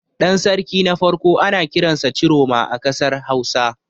Ɗan sarki na farko ana kiransa Ciroma a ƙasar Hausa.